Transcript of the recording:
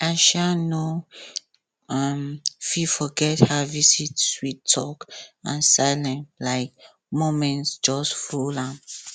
i um no um fit forget her visit sweet talk and silent um moments just full am